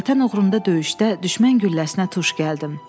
Vətən uğrunda döyüşdə düşmən gülləsinə tuş gəldim.